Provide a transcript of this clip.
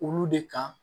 Olu de kan